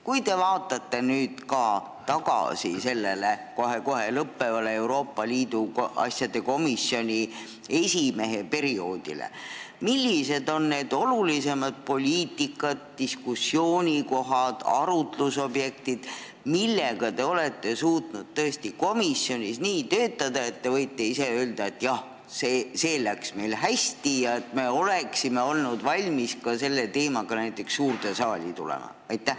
Kui te vaatate nüüd tagasi sellele kohe-kohe lõppevale Euroopa Liidu asjade komisjoni esimehe tööperioodile, millised on olnud need olulisemad poliitikad, diskussiooniteemad, arutlusobjektid, mille kallal te olete suutnud komisjonis töötada nii, et võite ise öelda, et jah, see läks meil hästi ja me oleksime olnud valmis selle teemaga suurde saali tulema?